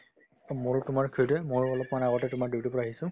to মোৰো তোমাৰ সেইটোয়ে ময়ো অলপমান আগতে তোমাৰ duty ৰ পৰা আহিছো